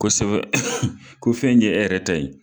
Kosɛbɛ ko fɛn kɛ e yɛrɛ ta ye.